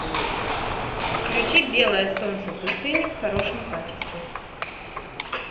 включи белое солнце пустыни в хорошем качестве